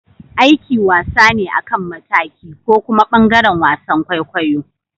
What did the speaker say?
Aiki wasa ne akan mataki. ko kuma bangaren wasan kwaikwayo.